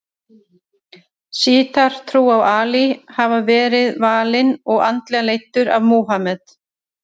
Sjítar trúa að Ali hafi verið valinn og andlega leiddur af Múhameð.